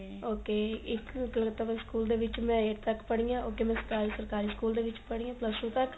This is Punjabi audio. ok ਇੱਕ ਗਲਗਤਾ ਬਾਈ school ਦੇ ਵਿੱਚ ਮੈਂ eighth ਤੱਕ ਪੜੀ ਆ ਸਰਕਾਰੀ school ਦੇ ਵਿੱਚ ਪੜੀ ਆ plus two ਤੱਕ